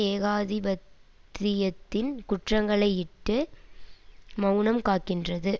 ஏகாதிபர்த்தியத்தின் குற்றங்களையிட்டு மெளனம் காக்கின்றது